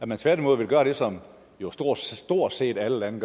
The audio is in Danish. man tværtimod vil gøre det som stort stort set alle lande